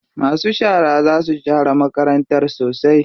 Masu shara za su share makarantar sosai.